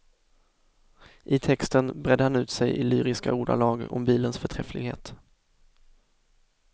I texten bredde han ut sig i lyriska ordalag om bilens förträfflighet.